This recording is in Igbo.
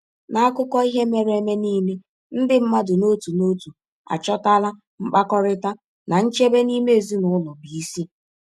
N’akụkọ ihe mere eme niile, ndị mmadụ n’otu n’otu achọtala mkpakọrịta na nchebe n’ime ezinụlọ bụ isi.